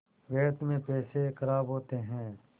व्यर्थ में पैसे ख़राब होते हैं